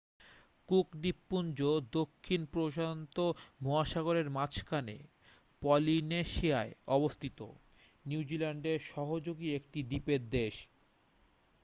cook দ্বীপপুঞ্জ দক্ষিণ প্রশান্ত মহাসাগরের মাঝখানে পলিনেশিয়ায় অবস্থিত নিউজিল্যান্ডের সহযোগী একটি দ্বীপের দেশ